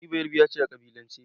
Ni Beyarabiya ce a ƙabilance.